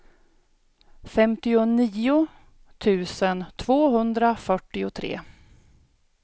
femtionio tusen tvåhundrafyrtiotre